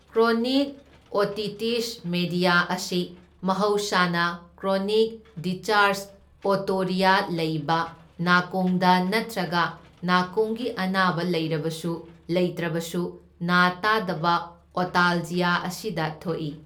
Chronic otitis media ꯑꯁꯤ ꯃꯍꯧꯁꯥꯅ chronic discharge otorrhoea ꯂꯩꯕ ꯅꯥꯀꯣꯡꯗ ꯅꯠꯇ꯭ꯔꯒ ꯅꯥꯀꯣꯡꯒꯤ ꯑꯅꯥꯕ ꯂꯩꯔꯕꯁꯨ ꯂꯩꯇ꯭ꯔꯕꯁꯨ ꯅꯥ ꯇꯥꯗꯕ ꯑꯣꯇꯥꯜꯖꯤꯌꯥ ꯑꯁꯤꯗ ꯊꯣꯛꯏ꯫